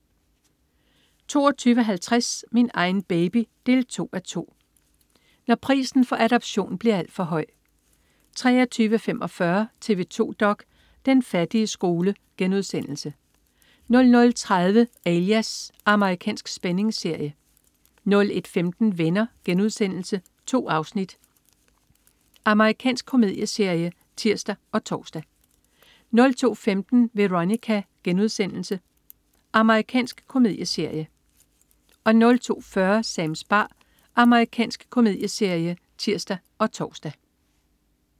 22.50 Min egen baby 2:2. Når prisen for adoption bliver for alt høj! 23.45 TV 2 dok.: Den fattige skole* 00.30 Alias. Amerikansk spændingsserie 01.15 Venner.* 2 afsnit. Amerikansk komedieserie (tirs og tors) 02.15 Veronica.* Amerikansk komedieserie 02.40 Sams bar. Amerikansk komedieserie (tirs og tors)